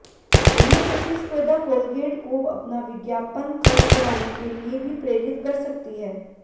गहन प्रतिस्पर्धा कॉलगेट को अपना विज्ञापन खर्च बढ़ाने के लिए भी प्रेरित कर सकती है